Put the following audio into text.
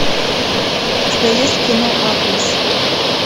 у тебя есть кино арлес